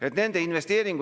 Ärme kütame ennast üles siin.